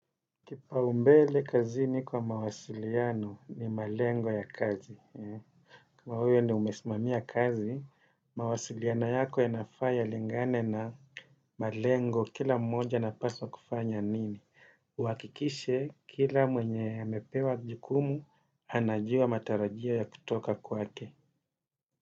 Kipaumbele kazini kwa mawasiliano ni malengo ya kazi. Kama wewe ndio umesimamia kazi, mawasiliana yako yanafaa yalingane na malengo kila mmoja anapaswa kufanya nini. Uhakikishe kila mwenye amepewa jukumu, anajua matarajia ya kutoka kwake.